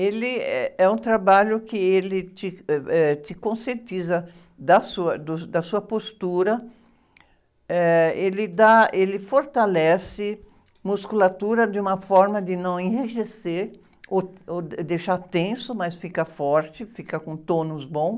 Ele, eh, é um trabalho que te, ãh, eh, te conscientiza da sua, do, da sua postura, eh, ele dá, ele fortalece musculatura de uma forma de não enrijecer ou, ou deixar tenso, mas fica forte, fica com um tônus bom.